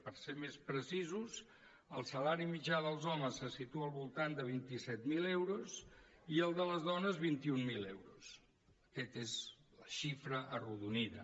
per ser més precisos el salari mitjà dels homes se situa al voltant de vint set mil euros i el de les dones vint mil euros aquesta és la xifra arrodonida